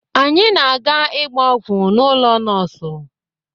Anyị na-aga ịgba ọgwụ n'ụlọ nọọsụ